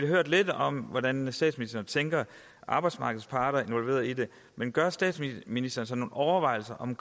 hørt lidt om hvordan statsministeren tænker at arbejdsmarkedets parter bliver involveret i det men gør statsministeren sig nogle overvejelser om